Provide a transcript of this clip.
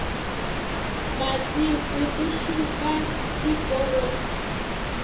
masiku ku suka siku ro